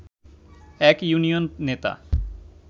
এক ইউনিয়ন নেতা